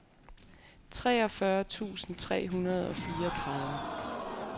treogfyrre tusind tre hundrede og fireogtredive